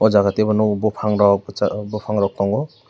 o jaga tebo nogo bofang rokh kchar bofang rok tango.